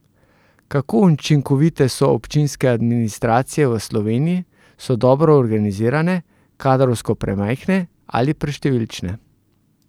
Kako učinkovite so občinske administracije v Sloveniji, so dobro organizirane, kadrovsko premajhne ali preštevilčne?